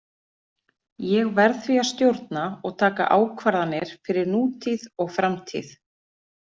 Ég verð því að stjórna og taka ákvarðanir fyrir nútíð og framtíð.